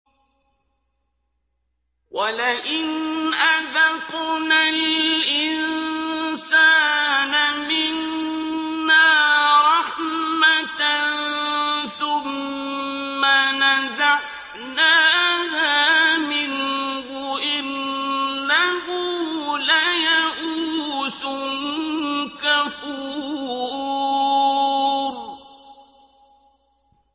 وَلَئِنْ أَذَقْنَا الْإِنسَانَ مِنَّا رَحْمَةً ثُمَّ نَزَعْنَاهَا مِنْهُ إِنَّهُ لَيَئُوسٌ كَفُورٌ